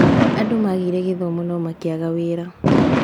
Andũ magĩire gĩthomo no makĩaga mawĩra